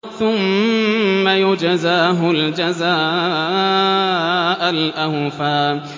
ثُمَّ يُجْزَاهُ الْجَزَاءَ الْأَوْفَىٰ